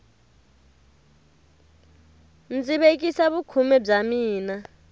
ndzi vekisa vukhume bya mina